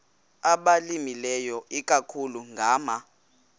abalimileyo ikakhulu ngama